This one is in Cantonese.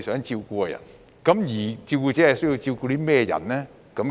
照顧者需要照顧甚麼人呢？